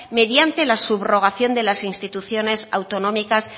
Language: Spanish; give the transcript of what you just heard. mediante la subrogación de las instituciones autonómicas